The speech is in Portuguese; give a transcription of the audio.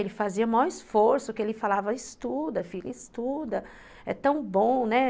Ele fazia o maior esforço, porque ele falava, estuda, filha, estuda, é tão bom, né?